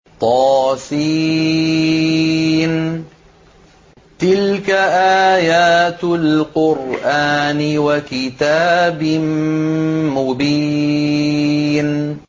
طس ۚ تِلْكَ آيَاتُ الْقُرْآنِ وَكِتَابٍ مُّبِينٍ